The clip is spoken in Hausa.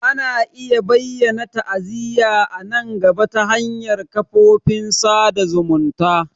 Ana iya bayyana ta'aziyya a nan gaba ta hanyar kafofin sada zumunta.